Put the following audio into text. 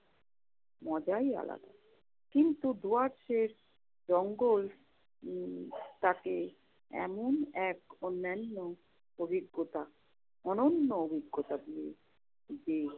মজাই আলাদা। কিন্তু দুয়ারচের জঙ্গল উম তাকে এমন এক অন্যান্য অভিজ্ঞতা~ অনন্য অভিজ্ঞতা দিয়ে~ দিয়ে